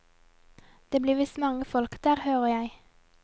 Det blir visst mange folk der, hører jeg.